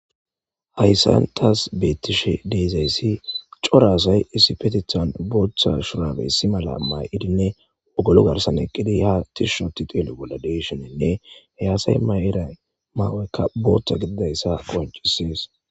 hayssantas bettishe deizayssi coraasay isipetithan booththa shurabey si mala may7idinne wogolu garsan eqqidi ha tishunoti teelo bolla deshonenne hayaasay may7eray maawoekka boothta gididayssa qoncisees